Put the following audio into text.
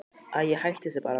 Æi, hættu þessu bara.